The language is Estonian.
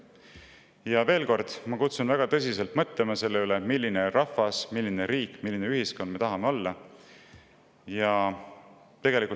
Ma kutsun üles väga tõsiselt mõtlema selle peale, milline rahvas me tahame olla ning millises riigis ja ühiskonnas.